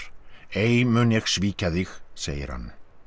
ei mun ég svíkja þig segir hann